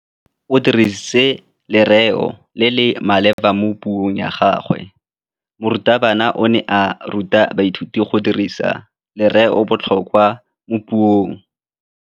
O dirisitse lerêo le le maleba mo puông ya gagwe. Morutabana o ne a ruta baithuti go dirisa lêrêôbotlhôkwa mo puong.